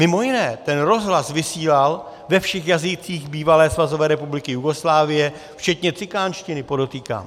Mimo jiné, ten rozhlas vysílal ve všech jazycích bývalé Svazové republiky Jugoslávie, včetně cikánštiny, podotýkám.